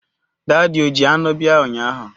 Daadi o ji anụ bia ụnyaahụ?